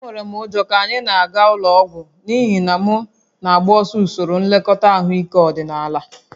Enwere m ụjọ ka anyị na-aga ụlọ ọgwụ n'ihi na m na-agbaso usoro nlekọta ahụike ọdịnaala